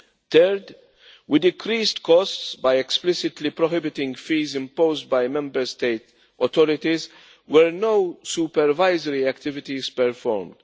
Third, we decreased costs by explicitly prohibiting fees imposed by Member States' authorities where no supervisory activities were performed.